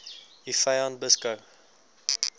u vyand beskou